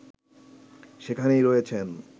সেখানেই রয়েছেন